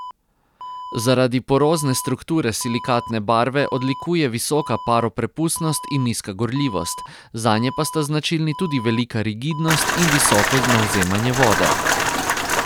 Zaradi porozne strukture silikatne barve odlikuje visoka paroprepustnost in nizka gorljivost, zanje pa sta značilni tudi velika rigidnost in visoko navzemanje vode.